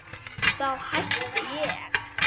Þá hætti ég.